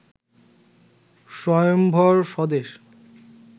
স্বয়ম্ভর স্বদেশ